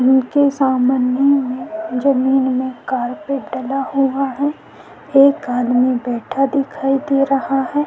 उनके सामने जमीन में कार्पेट डला हुआ है। एक आदमी बैठा दिखा दे रहा है।